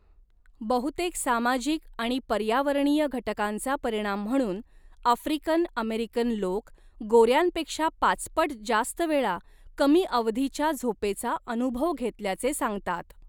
बहुतेक सामाजिक आणि पर्यावरणीय घटकांचा परिणाम म्हणून, आफ्रिकन अमेरिकन लोक गोर्यांपेक्षा पाचपट जास्त वेळा कमी अवधीच्या झोपेचा अनुभव घेतल्याचे सांगतात.